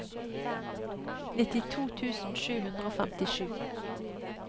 nittito tusen sju hundre og femtisju